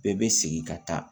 Bɛɛ bɛ segin ka taa